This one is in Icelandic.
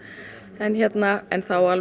en en það á